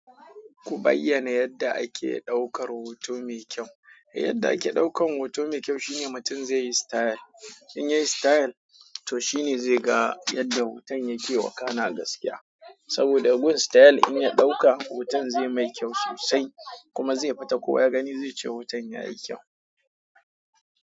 Ku bayyana yadda ake ɗaukar hoto mai kyau. Yadda ake ɗaukan hoto mai kyau shine mutum zai yi style. In yayi style to shine zai ga yadda hoton yake wakana gaskiya. Saboda gun style in ya ɗauka, hoton zai mai kyau sosai, kuma zai fita kowa ya gani zai ce hoton yayi kyau.